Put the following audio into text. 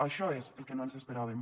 això és el que no ens esperàvem